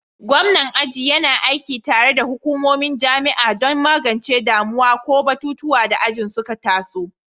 Gwamnan aji yana aiki tare da hukumomin jami'a don magance damuwa ko batutuwan da ajin suka taso.